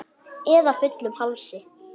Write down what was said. Eða fullum hálsi?